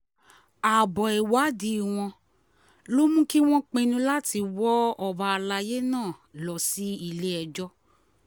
abo ìwádìí wọn ló mú kí wọ́n pinnu láti wọ ọba àlàyé náà lọ sílé-ẹjọ́